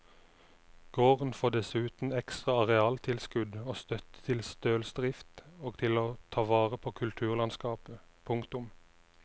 Gården får dessuten ekstra arealtilskudd og støtte til stølsdrift og til å ta vare på kulturlandskapet. punktum